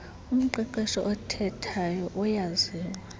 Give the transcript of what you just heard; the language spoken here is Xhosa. umqeqeshi omkhethayo uyaziwa